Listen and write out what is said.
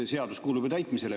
Sest seadust tuleb täita.